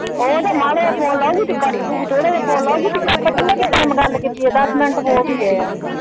ਓਹ ਤਾਂ ਮਾੜਾ ਜੇਹਾ ਫੋਨ ਲਾਊਗੀ ਤੇ ਕੱਟ ਦਊਗੀ, ਥੋੜਾ ਜੇਹਾ ਫੋਨ ਲਾਊਗੀ ਤੇ ਕੱਟ ਦਊਗੀ। ਹੁਣ ਆਪਾਂ ਕਿੰਨਾ ਟਾਈਮ ਗੱਲ ਕੀਤੀ ਆ ਦਸ ਮਿੰਟ ਹੋ ਵੀ ਗਏ ਆ।